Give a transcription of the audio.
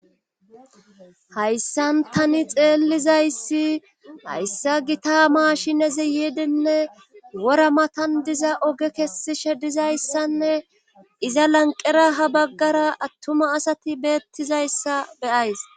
Hayssan tani xeellizayssi hayssa gita maashineze yeedenne wora matan diza oge kessishe dizayssanne iza lanqera ha baggara attuma asati beettizayssa beyays.